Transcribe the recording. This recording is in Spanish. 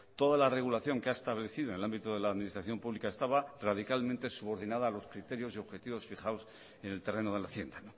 toda la regulación que ha establecido en el ámbito de la administración pública estaba radicalmente subordinada a los criterios y objetivos fijados en el terreno de la hacienda